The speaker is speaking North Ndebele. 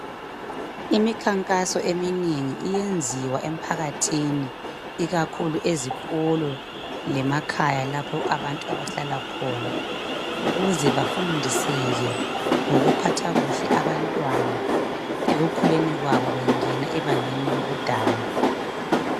Iminkankaso eminengi iyenziwa emphakathini, ikakhulu ezikolo lemakhaya lapho abantu abahlala khona, ukuze bafundiseke ngokuphatha kuhle abantwana ekhukuleni kwabo bengena abangeni lobudala.